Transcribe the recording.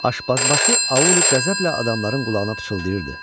Aşpazbaşı Auli qəzəblə adamların qulağına pıçıldayırdı: